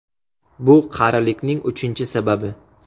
Bu qarilikning uchinchi sababi.